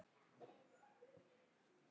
Hún ber af öðrum konum.